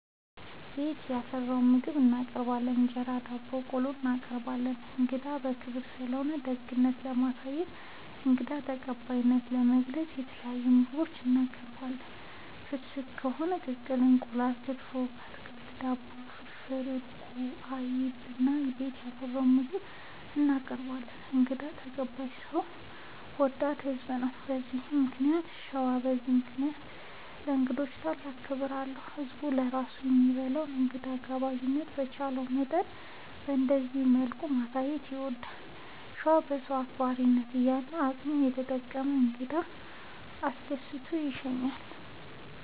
ቤት ያፈራውን ምግብ እናቀርባለን እንጀራ፣ ዳቦናቆሎ እናቀርባለን። እንግዳ ክብር ስለሆነ ደግነት ለማሳየትና እንግዳ ተቀባይነትን ለመግለፅ የተለያዩ ምግቦች እናቀርባለን። ፍስግ ከሆነ ቅቅል እንቁላል፣ ክትፎ፣ አትክልት፣ ዳቦ፣ ፍርፍር፣ እርጎ፣ አይብ እና ቤት ያፈራውን ምግብ እናቀርባለን እንግዳ ተቀባይ ሰው ወዳድ ህዝብ ነው። እና በዚህ ምክንያት ሸዋ በዚህ ምክንያት ለእንግዶች ታላቅ ክብር አለው። ህዝብም ለራሱ ከሚበላ እንግዳ ጋባዥነቱን በቻለው መጠን በእንደዚህ መልኩ ማሳየት ይወዳል። ሸዋ በሰው አክባሪነት ያለ አቅሙን ተጠቅሞ እንግዳ አስደስቶ ይሸኛል።